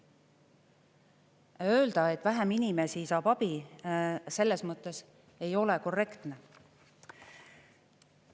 Ja öelda, et vähem inimesi saab abi, selles mõttes ei ole korrektne.